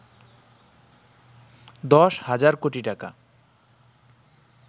১০ হাজার কোটি টাকা